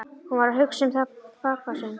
Hún var að hugsa um pabba sinn.